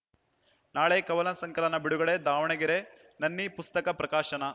ನಾಳೆ ಕವನ ಸಂಕಲನ ಬಿಡುಗಡೆ ದಾವಣಗೆರೆ ನನ್ನಿ ಪುಸ್ತಕ ಪ್ರಕಾಶನ